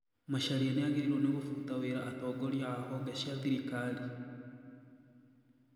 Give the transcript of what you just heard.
Macharia nĩagĩrĩirwo nĩ gũbuta wĩra atongoria a honge cia thirikari?